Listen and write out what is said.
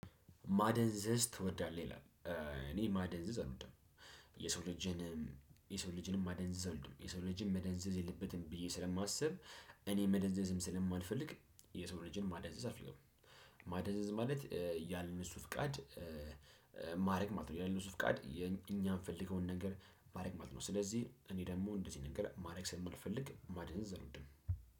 ማደንዘዝ ትወዳለህ ይላል እኔ ማደንዘዝ አልወድም የሰው ልጅንም የሰው ልጅንም ማደንዘዝ አልወድም የሰው ልጅን ማደንዘዝ የለበትም ብዬ ስለማስብ እኔ መደንዘዝም ስለማልፈልግ የሰው ልጅን ማደንዘዝ አልፈልግም። ማደንዘዝ ማለት ያለ እነሱ ፍቃድ ማድረግ ማለት ነው። ያለ እነሱ ፍቃድ እኛ የፈለግነውን ነገር ማድረግ ማለት ነው። ስለዚህ እኔ ደግሞ እንደዚህ ነገር ማድረግ ስለማልፈልግ ማድረግ አልወድም።